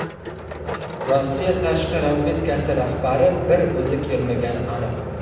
Rossiya tashqi razvedkasi rahbari bir o‘zi kelmagani aniq.